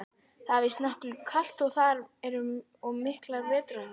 Það er víst nokkuð kalt þar og miklar vetrarhörkur.